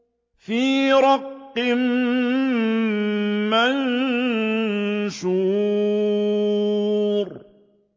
فِي رَقٍّ مَّنشُورٍ